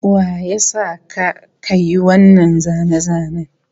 Wa ya sa ka ka yi wannan zane-zanen?